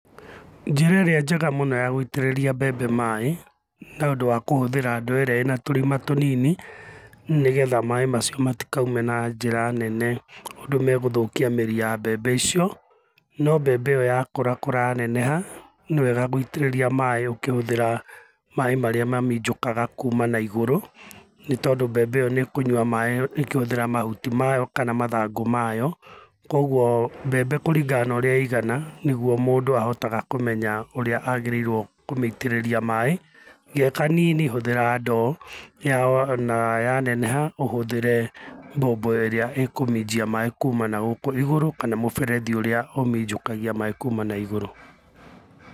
Njĩra ĩrĩa njega mũno ya gũitĩrĩria mbembe maaĩ, nĩ ũndũ wa kũhũthĩra ndoo ĩrĩa ĩna tũrima tũnini nĩgetha maaĩ macio matikaume na njĩra nene ũndũ megũthũkia mĩri ya mbembe icio. No mbembe ĩyo ya kũrakũra ya neneha nĩ wega gũitĩrĩria maaĩ ũkĩhũthĩra maaĩ marĩa maminjũkaga kuma na igũrũ nĩ tondũ mbembe ĩyo nĩ kũnyua maaĩ ĩkĩhũthĩra mahuti mayo kana mathangũ mayo. Koguo mbembe kũringana na ũrĩa ĩigana niguo mũndũ ahotaga kũmenya ũrĩa agĩrĩirwo kũmeĩtĩrĩria maaĩ ge kanini hũthĩra ndoo na ya neneha ũhũthĩre mbombo ĩrĩa ĩkũminjia maaĩ kuma nagũkũ igũrũ kana mũberethi ũrĩa ũminjũkagia maaĩ kuma na igũrũ.